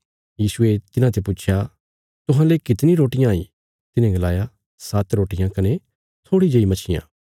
यीशुये तिन्हांते पुच्छया तुहांले कितणी रोटियां हाई तिन्हे गलाया सात्त रोटियां कने थोड़ी जेई मच्छियां